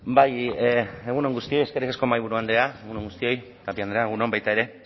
bai egun on guztioi eskerrik asko mahaiburu andrea egun on guztioi tapia andrea egun on baita ere